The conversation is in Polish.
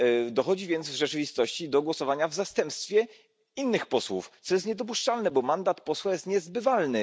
Dochodzi więc w rzeczywistości do głosowania w zastępstwie innych posłów, co jest niedopuszczalne, bo mandat posła jest niezbywalny.